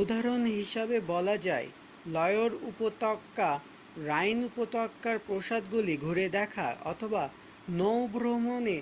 উদাহরণ হিসাবে বলা যায় লয়র উপত্যকা রাইন উপত্যকার প্রাসাদ্গুলি ঘুরে দেখা অথবা নৌভ্রমণে